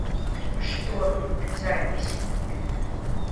шторм запись